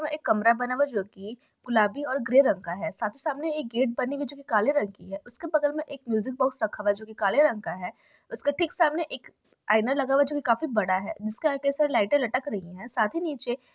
यह एक कमरा बना हुआ है जो कि गुलाबी और ग्रे रंग का है साथ ही सामने एक गेट बनी हुई है जोकि काले रंग की है उसके बगल में म्यूजिक बॉक्स रखा हुआ है जोकि काले रंग का है उसके ठीक सामने एक आईना लगा हुआ है जो कि काफी बड़ा है जिसके आगे से लाइटे लटक रही है साथ ही नीचे --